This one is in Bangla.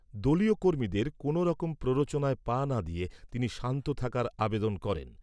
দলীয় কর্মীদের কোনওরকম প্ররোচনায় পা না দিয়ে তিনি শান্ত থাকার আবেদন করেন।